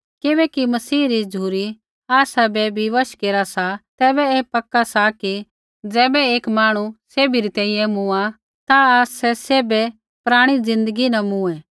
किबैकि मसीही री झ़ुरी आसाबै विवश केरा सा तैबै ऐ पक्का सा कि ज़ैबै एक मांहणु सैभी री तैंईंयैं मूँआ ता आसै सैभे पराणी ज़िन्दगी न मूँऐ